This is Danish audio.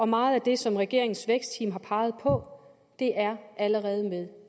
meget af det som regeringens vækstteam har peget på er allerede med